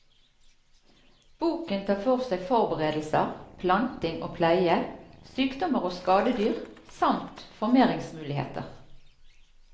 Boken tar for seg forberedelser, planting og pleie, sykdommer og skadedyr samt formeringsmuligheter.